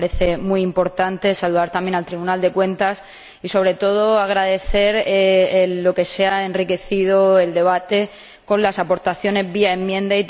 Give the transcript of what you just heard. Me parece muy importante saludar también al Tribunal de Cuentas y, sobre todo, agradecer lo que se ha enriquecido el debate con las aportaciones vía enmienda.